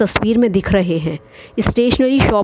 तस्वीर में दिख रहे हैं स्टेशनरी शॉप --